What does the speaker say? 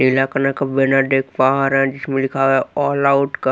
पीला कलर का जिसमें लिखा है ऑल आउट --